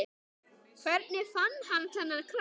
Hvernig fann hann þennan kraft?